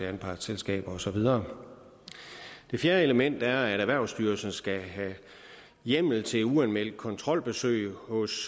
anspartsselskaber og så videre det fjerde element er at erhvervsstyrelsen skal have hjemmel til uanmeldt kontrolbesøg hos